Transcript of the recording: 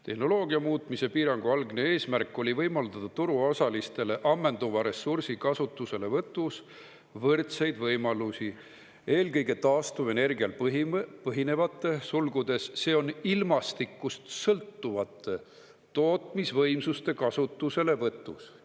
Tehnoloogia muutmise piirangu algne eesmärk oli võimaldada turuosalistele ammenduva ressursi kasutuselevõtus võrdseid võimalusi eelkõige taastuvenergial põhinevate tootmisvõimsuste kasutuselevõtus.